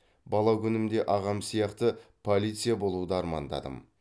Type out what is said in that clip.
бала күнімде ағам сияқты полиция болуды армандадым